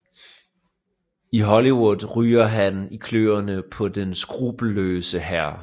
I Hollywood ryger han i kløerne på den skruppelløse hr